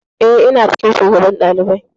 Eh, ina cikin shugaban ɗalibai.